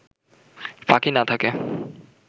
ফাঁকি না থাকে